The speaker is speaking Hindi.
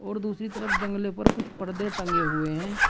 तो दूसरी तरफ जंगले पर कुछ पर्दे टंगे हुए हैं।